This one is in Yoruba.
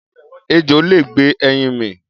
Ejò lè gbé ẹyin mì.